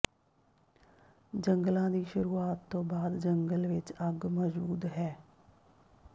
ਜੰਗਲਾਂ ਦੀ ਸ਼ੁਰੂਆਤ ਤੋਂ ਬਾਅਦ ਜੰਗਲ ਵਿਚ ਅੱਗ ਮੌਜੂਦ ਹੈ